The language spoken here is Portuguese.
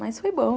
Mas foi bom.